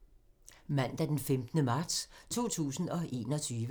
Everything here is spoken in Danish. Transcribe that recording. Mandag d. 15. marts 2021